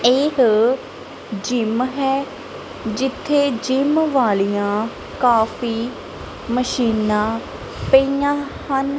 ਇਕ ਜਿਮ ਹੈ ਜਿੱਥੇ ਜਿਮ ਵਾਲੀਆਂ ਕਾਫੀ ਮਸ਼ੀਨਾਂ ਪਈਆਂ ਹਨ।